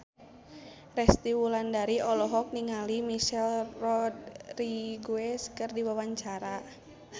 Resty Wulandari olohok ningali Michelle Rodriguez keur diwawancara